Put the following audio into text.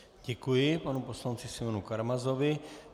Děkuji panu poslanci Simeonu Karamazovi.